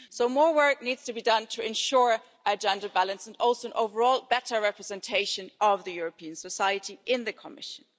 So, more work needs to be done to ensure a gender balance and also an overall better representation of European society in the Commission.